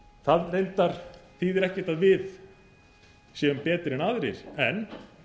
það reyndar þýðir ekki að við séum betri en aðrir en